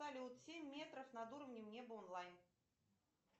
салют семь метров над уровнем неба онлайн